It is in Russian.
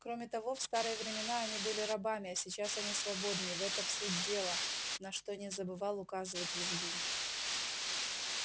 кроме того в старые времена они были рабами а сейчас они свободны и в этом суть дела на что не забывал указывать визгун